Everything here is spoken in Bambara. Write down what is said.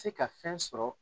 Se ka fɛn sɔrɔ.